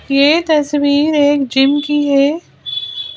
यह तस्वीर एक जिम की है।